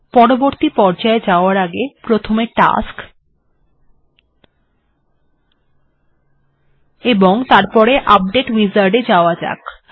পরবর্তী পর্যায় যাবার আগে প্রথমে টাস্ক ও তারপর আপডেট উইজার্ড এ যাওয়া যাক